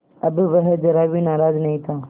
अब वह ज़रा भी नाराज़ नहीं था